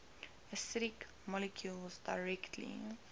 acidic molecules directly